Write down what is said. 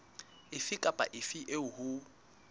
efe kapa efe eo ho